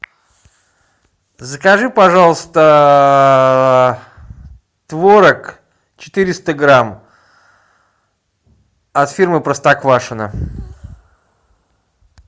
закажи пожалуйста творог четыреста грамм от фирмы простоквашино